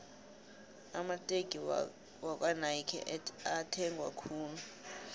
amateki wakwanayki ethengwa khulu